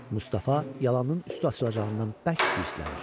Mustafa yalanın üstü açılacağından bərk hirslənir.